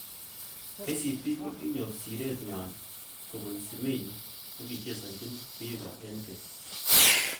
KCB kokinyor siret nywa kobun Simiyu nekichesanchin Vihiga eng keny.